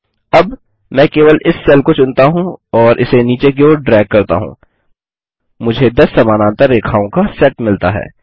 अब मैं केवल इस सेल को चुनता हूँ और इसे नीचे की ओर ड्रैग करता हूँ मुझे 10 समानांतर रेखाओं का सेट मिलता है